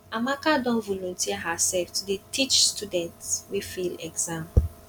amaka don volunteer hersef to dey teach students wey fail exam